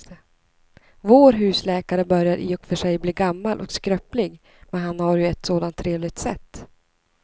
Vår husläkare börjar i och för sig bli gammal och skröplig, men han har ju ett sådant trevligt sätt!